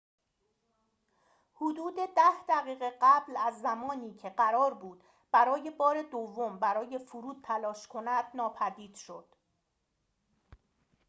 حدود ده دقیقه قبل از زمانی که قرار بود برای بار دوم برای فرود تلاش کند ناپدید شد